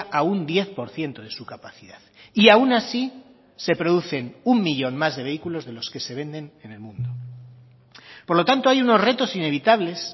a un diez por ciento de su capacidad y aun así se producen uno millón más de vehículos de los que se venden en el mundo por lo tanto hay unos retos inevitables